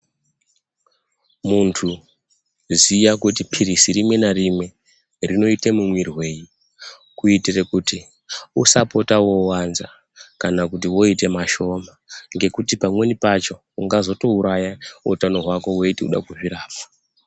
Muntu ziya kuti phirizi rimwe narimwe, rinoite mumwirwei kuitire kuti usapota wowanza, kana kuti woite mashoma, ngekuti pamweni pacho, ungazotouraya utano hwako, weiti unoda kuzvirapa.